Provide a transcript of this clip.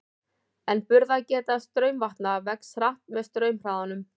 En burðargeta straumvatna vex hratt með straumhraðanum.